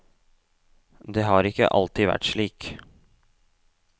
Det har ikke alltid vært slik.